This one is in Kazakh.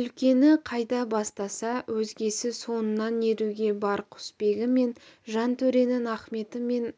үлкені қайда бастаса өзгесі соңынан еруге бар құсбегі мен жантөренің ахметі мен